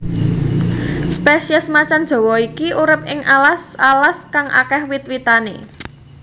Spesies macan jawa iki urip ing alas alas kang akéh wit witane